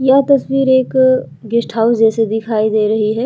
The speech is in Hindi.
यह तस्वीर एक गेस्ट हाउस जैसे दिखाई दे रही है।